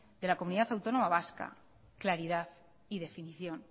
de la comunidad autónoma vasca claridad y definición